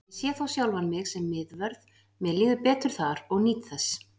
Ég sé þó sjálfan mig sem miðvörð, mér líður betur þar og nýt þess.